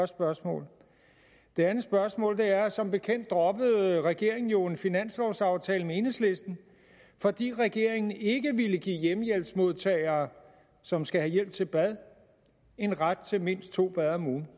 spørgsmål det andet spørgsmål er som bekendt droppede regeringen jo en finanslovsaftale med enhedslisten fordi regeringen ikke ville give hjemmehjælpsmodtagere som skal have hjælp til bad en ret til mindst to bade om ugen